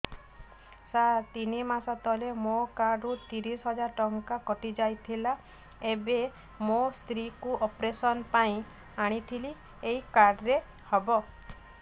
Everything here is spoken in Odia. ସାର ତିନି ମାସ ତଳେ ମୋ କାର୍ଡ ରୁ ତିରିଶ ହଜାର ଟଙ୍କା କଟିଯାଇଥିଲା ଏବେ ମୋ ସ୍ତ୍ରୀ କୁ ଅପେରସନ ପାଇଁ ଆଣିଥିଲି ଏଇ କାର୍ଡ ରେ ହବ